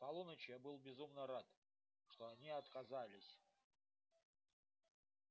к полуночи я был безумно рад что они отказались